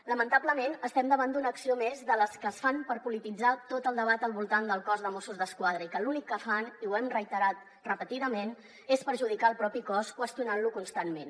lamentablement estem davant d’una acció més de les que es fan per polititzar tot el debat al voltant del cos de mossos d’esquadra i que l’únic que fan i ho hem reiterat repetidament és perjudicar el propi cos qüestionant lo constantment